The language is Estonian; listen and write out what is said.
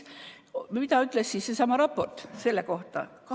Mida ütles seesama raport selle kohta?